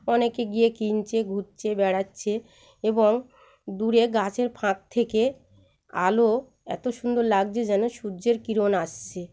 অনেকে গিয়ে কিনছে ঘুরছে বেড়াচ্ছে এবং দূরে গাছের ফাঁঁক থেকে আলো এত সুন্দর লাগছে যেন সূর্যের কিরণ আসছে।